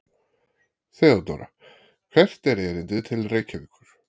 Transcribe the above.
THEODÓRA: Hvert er erindið til Reykjavíkur?